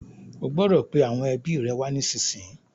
O gbọdọ̀ pe àwọn ẹbi rẹ wá nísìnyí.